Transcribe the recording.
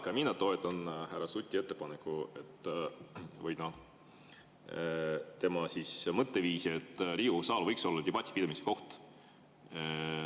Ka mina toetan härra Suti ettepanekut või tema mõtteviisi, et Riigikogu saal võiks olla debati pidamise koht.